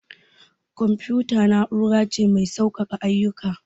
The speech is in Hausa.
Confuta na'ura ce mai sauƙake ayyuka.